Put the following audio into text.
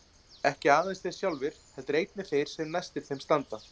Ekki aðeins þeir sjálfir heldur einnig þeir sem næstir þeim standa.